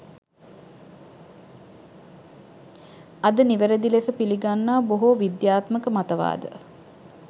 අද නිවැරදි ලෙස පිලිගන්නා බොහෝ විද්‍යාත්මක මතවාද